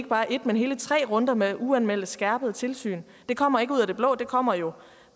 bare én men hele tre runder med uanmeldte skærpede tilsyn det kommer ikke ud af det blå det kommer jo